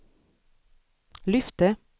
lyfte